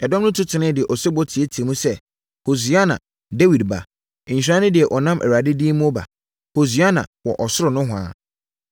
Ɛdɔm no tu teneeɛ de osebɔ teateaam sɛ, “Hosiana Dawid Ba!” “Nhyira ne deɛ ɔnam Awurade din mu reba no.” “Hosiana wɔ ɔsoro nohoa!”